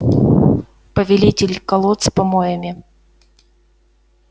повелитель колод с помоями